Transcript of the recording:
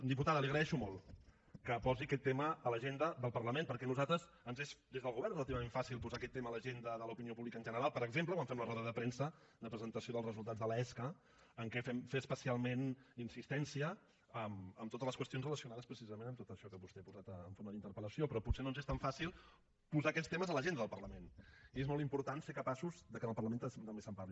diputada li agraeixo molt que posi aquest tema a l’agenda del parlament perquè a nosaltres ens és des del govern relativament fàcil posar aquest tema a l’agenda de l’opinió pública en general per exemple ho vam fer a la roda de premsa de presentació dels resultats de l’esca en què fem especialment insistència en totes les qüestions relacionades precisament amb tot això que vostè ha posat en forma d’interpel·lació però potser no ens és tan fàcil posar aquests temes a l’agenda del parlament i és molt important ser capaços que en el parlament també se’n parli